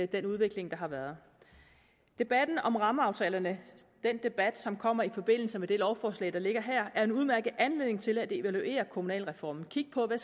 den udvikling der har været debatten om rammeaftalerne den debat som kommer i forbindelse med det lovforslag der ligger her er en udmærket anledning til at evaluere kommunalreformen og kigge på hvad